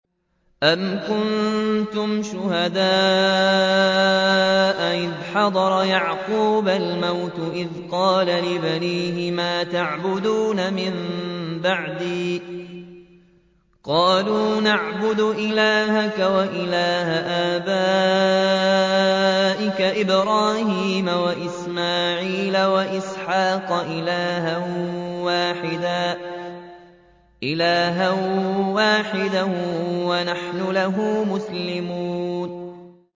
أَمْ كُنتُمْ شُهَدَاءَ إِذْ حَضَرَ يَعْقُوبَ الْمَوْتُ إِذْ قَالَ لِبَنِيهِ مَا تَعْبُدُونَ مِن بَعْدِي قَالُوا نَعْبُدُ إِلَٰهَكَ وَإِلَٰهَ آبَائِكَ إِبْرَاهِيمَ وَإِسْمَاعِيلَ وَإِسْحَاقَ إِلَٰهًا وَاحِدًا وَنَحْنُ لَهُ مُسْلِمُونَ